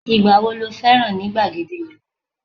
igba wo lo féràn ni igbagede ìlú